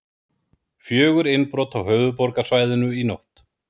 Fjögur innbrot á höfuðborgarsvæðinu í nótt